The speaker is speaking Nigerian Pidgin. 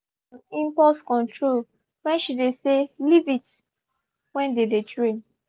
she been work om impulse control when she dey say "leave it" when they dey train